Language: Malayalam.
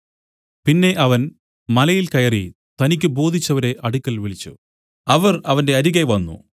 പിന്നെ അവൻ മലയിൽ കയറി തനിക്കു ബോധിച്ചവരെ അടുക്കൽ വിളിച്ചു അവർ അവന്റെ അരികെ വന്നു